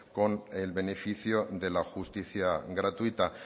con el beneficio de la justicia gratuita